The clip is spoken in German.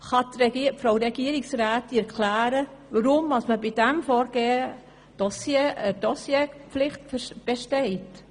Kann Frau Regierungsrätin Egger erklären, weshalb bei diesem Vorgehen eine Dossierpflicht besteht?